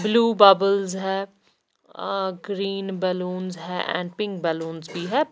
Blue bubbles है green balloons है and pink balloons भी है।